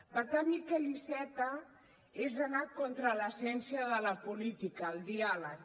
vetar miquel iceta és anar contra l’essència de la política el diàleg